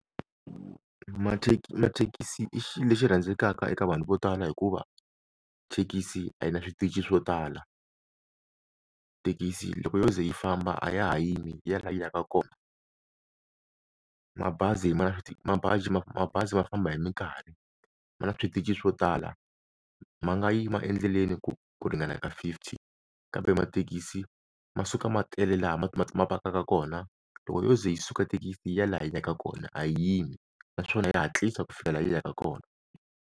mathekisi i xilo lexi rhandzekaka eka vanhu vo tala hikuva thekisi a yi na switichi swo tala, thekisi loko yo ze yi famba a ya ha yimi yi ya laha yi yaka kona mabazi ma mabazi mabazi ma famba hi minkarhi, ma na switichi swo tala ma nga yima endleleni ku ringana ya ka fifty kambe mathekisi ma suka ma tele laha ma ma ma pakaka kona loko yo ze yi suka thekisi yi ya laha yi yaka kona a yi yimi naswona ya hatlisa ku fika laha yi yaka kona.